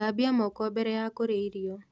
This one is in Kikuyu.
Thambia moko mbere ya kũrĩa irio